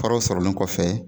Faraw sɔrɔlen kɔfɛ.